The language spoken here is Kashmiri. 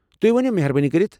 تُہۍ ؤنِو مہربٲنی کٔرتھ ۔